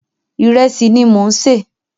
Ìrẹsì ni mò ń sè.